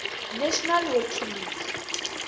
national hockey league